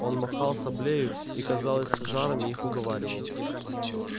он махал саблею и казалось с жаром их уговаривал